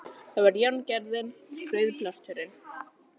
Það er járngerðin, rauðablásturinn.